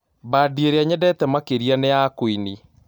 Bandĩĩrĩa nyendete makĩrĩa nĩ ya qũĩnĩ